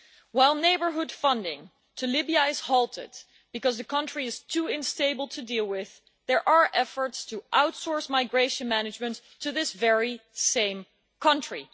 While neighbourhood funding to Libya is halted because the country is too unstable to deal with, there are efforts to outsource migration management to this very same country.